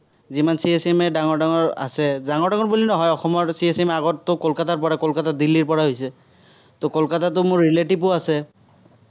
যিমান CA, CMA ডাঙৰ ডাঙৰ আছে, ডাঙৰ ডাঙৰ বুলি নহয়, অসমৰ CA, CMA আগততো কলকাতাৰ পৰা। কলকাতা দিল্লীৰ পৰা হৈছে। তো কলকাতাততো মোৰ relative ও আছে।